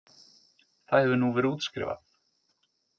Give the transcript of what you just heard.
Það hefur nú verið útskrifað